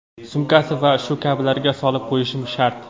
sumkasi va shu kabilarga solib qo‘yishi shart.